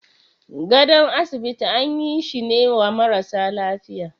gadon asibiti an yi shine wa marasa lafiya.